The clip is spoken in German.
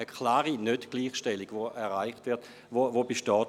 Dies ist eine klare Nichtgleichstellung, die bei uns besteht.